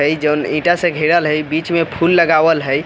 अ इ जोन ईटा से घेराल हई अ बीच मे फूल लगावल हई।